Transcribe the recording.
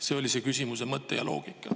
See oli minu küsimuse mõte ja loogika.